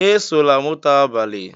"Esola moto abalị!